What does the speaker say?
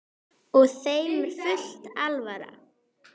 Og þeim er full alvara.